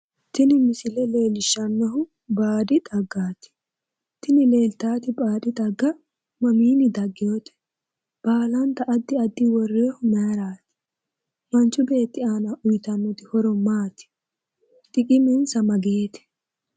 Tini misile leellishannohu baadi xaggaati. tini leeltaati baadi xagga mamiinni dagginote? baalanta addi addi worroyiihu maayiiraati? manchu beeeti aana uuyitannoti horo maati? xiqimensa mageete?